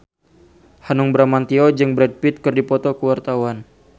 Hanung Bramantyo jeung Brad Pitt keur dipoto ku wartawan